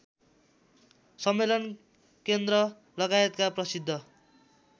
सम्मेलन केन्द्रलगायतका प्रसिद्ध